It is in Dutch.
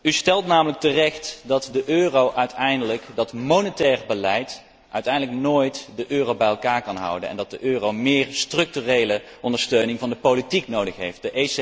U stelt namelijk terecht dat monetair beleid uiteindelijk nooit de euro bij elkaar kan houden en dat de euro meer structurele ondersteuning van de politiek nodig heeft.